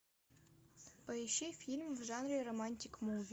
поищи фильм в жанре романтик муви